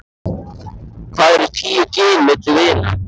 Hvað eru tíu gin milli vina.